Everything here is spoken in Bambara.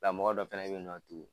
Nka mɔgɔ dɔ fɛnɛ be yen nɔn